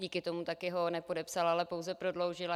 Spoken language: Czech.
Díky tomu taky ho nepodepsal, ale pouze prodloužil.